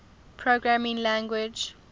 programming language